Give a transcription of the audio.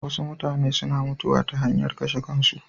Wasu mutane suna mutuwa ta hanyar kashe kansu.